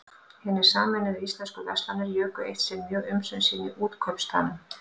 Hinar sameinuðu íslensku verslanir juku eitt sinn mjög umsvif sín í Útkaupstaðnum.